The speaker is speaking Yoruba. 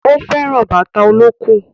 Ó fẹ́ràn bàtà olókùn